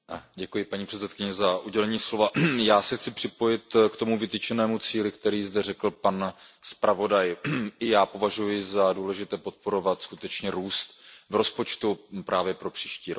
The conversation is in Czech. Paní předsedající, já se chci připojit k tomu vytyčenému cíli, který zde řekl pan zpravodaj. Já považuji za důležité podporovat skutečně růst v rozpočtu právě pro příští rok.